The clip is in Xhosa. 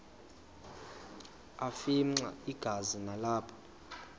afimxa igazi nalapho